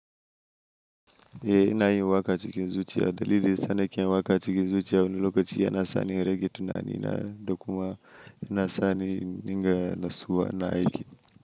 Eh ina yin waƙa cikin zuciya. Dalilin sanarƙin waƙa cikin zuciya wani lokaci yana sani rage tunani na, da kuma yana sani ninger na suwa na aiki.